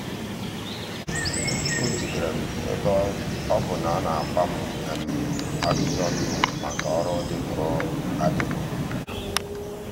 o jidere m ebe ọ bụ na a na-agba m ajụjụ ọnụ maka ọrụ dịpụrụ adịpụ.